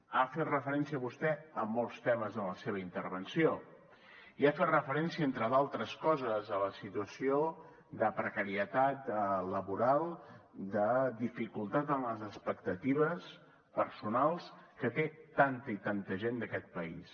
ha fet referència vostè a molts temes en la seva intervenció i ha fet referència entre d’altres coses a la situació de precarietat laboral de dificultat en les expectatives personals que té tanta i tanta gent d’aquest país